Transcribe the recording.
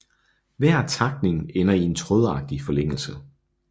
Hver takning ender i en trådagtig forlængelse